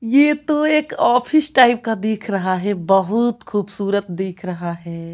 ये तो एक ऑफिस टाइप का दिख रहा है बहुत खूबसूरत दिख रहा है।